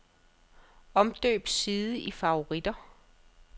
Omdøb side i favoritter.